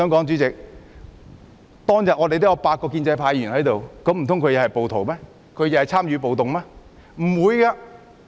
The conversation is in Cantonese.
主席，當天8位建制派議員在場，難道他們都是暴徒又參與了暴動？